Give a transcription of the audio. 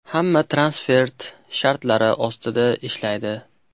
Hamma transfert shartlari ostida ishlaydi.